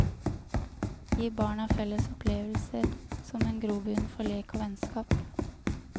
Gi barna felles opplevelser som en grobunn for lek og vennskap.